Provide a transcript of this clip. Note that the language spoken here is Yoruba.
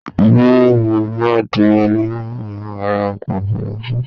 Bí mo bá di olówó, mo máa ra ọkọ̀ òfuurufú